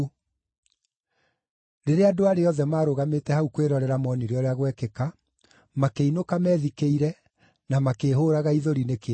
Rĩrĩa andũ arĩa othe maarũgamĩte hau kwĩrorera moonire ũrĩa gwekĩka, makĩinũka methikĩire, na makĩĩhũũraga ithũri nĩ kĩeha.